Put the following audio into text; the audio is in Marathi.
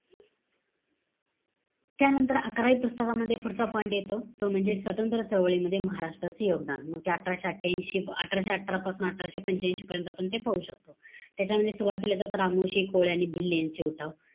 त्यानंतर, अकरावी पुस्तकामध्ये पुढचा point येतो. तो म्हणजे, स्वातंत्र चळवळीमध्ये महाराष्ट्राचं योगदान. मग ते अठराशे अठ्ठयांशी, अठराशे अठरापासून अठराशे पंच्यांशी पर्यंत ते आपण पाहू शकतो. त्याच्यामध्ये सुरवातीला येतात, रामोशी, कोळी आणि भिल्ल यांचे उठाव.